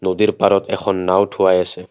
নদীৰ পাৰত এখন নাওঁ থোৱাই আছে।